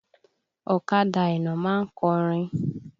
Ọ̀kadà Àìná ma ń kọrin.